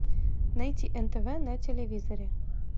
найти нтв на телевизоре